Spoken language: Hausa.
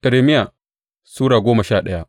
Irmiya Sura goma sha daya